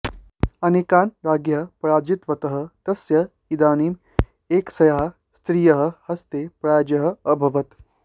अनेकान् राज्ञः पराजितवतः तस्य इदानीम् एकस्याः स्त्रियः हस्ते पराजयः अभवत्